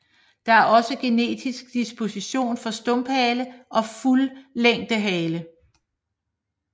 Der er også genetisk disposition for stumphale og fuldlængde hale